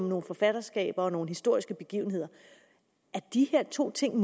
nogle forfatterskaber og nogle historiske begivenheder er de to ting